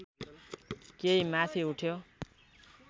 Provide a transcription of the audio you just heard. केही माथि उठ्यो